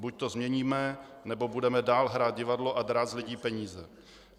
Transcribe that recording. Buď to změníme, nebo budeme dál hrát divadlo a drát z lidí peníze.